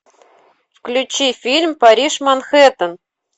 включи фильм париж манхэттен